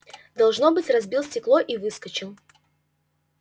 должно быть разбил стекло и выскочил